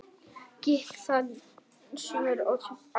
Gikk þann sumir óttast æ.